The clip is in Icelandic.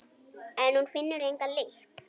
En hún finnur enga lykt.